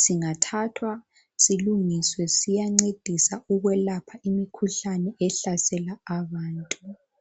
singathathwa silungiswe siyancedisa ukwelapha imikhuhlane ehlasela abantu.